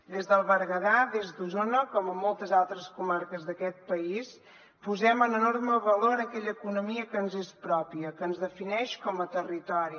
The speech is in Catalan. des del berguedà des d’osona com en moltes altres comarques d’aquest país posem en enorme valor aquella economia que ens és pròpia que ens defineix com a territori